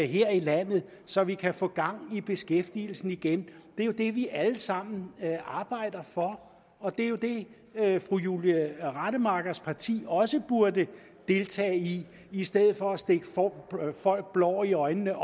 i landet så vi kan få gang i beskæftigelsen igen det er jo det vi alle sammen arbejder for og det er jo det fru julie rademachers parti også burde deltage i i stedet for at stikke folk blår i øjnene